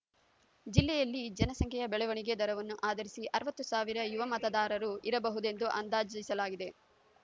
ಜಿಲ್ಲೆಯಲ್ಲಿ ಜನಸಂಖ್ಯೆಯ ಬೆಳವಣಿಗೆ ದರವನ್ನು ಆಧರಿಸಿ ಅರವತ್ತು ಸಾವಿರ ಯುವ ಮತದಾರರು ಇರಬಹುದೆಂದು ಅಂದಾಜಿಸಲಾಗಿದೆ